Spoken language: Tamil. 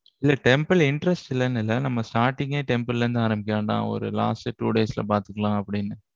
இல்ல temple interest இல்லைன்னு இல்லை. நம்ம starting ஏ temple ல இருந்து ஆரம்பிக்க வேண்டாம். ஒரு last two days ல பார்த்துக்கலாம் அப்படின்னு.